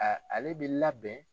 A ale bɛ labɛn.